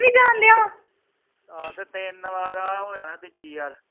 ਆਹੋ ਤੇ ਤਿੰਨ ਵਾਰ ਆ ਹੋ ਜਾਣਾ ਤੀਜੀ ਵਾਰ